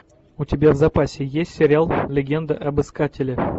у тебя в запасе есть сериал легенда об искателе